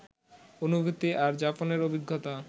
অনুভূতি আর যাপনের অভিজ্ঞতা